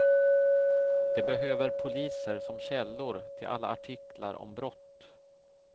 De behöver poliser som källor till alla artiklar om brott.